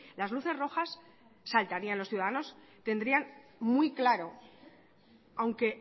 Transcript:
las luces rojas saltarían los ciudadanos tendrían muy claro aunque